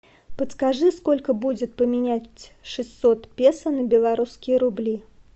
подскажи сколько будет поменять шестьсот песо на белорусские рубли